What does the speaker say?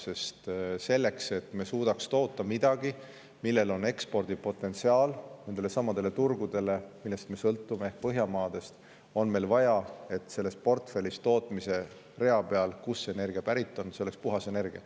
Sest selleks, et me suudaks toota midagi, millel on ekspordipotentsiaal nendelesamadele turgudele, millest me sõltume, ehk Põhjamaadesse, on meil vaja, et selles portfellis oleks tootmise rea peal, kust on energia pärit ja et puhast energiat.